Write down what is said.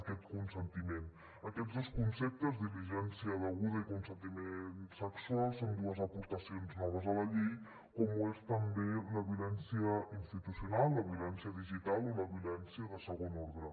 aquests dos conceptes diligència deguda i consentiment sexual són dues aportacions noves a la llei com ho són també la violència institucional la violència digital o la violència de segon ordre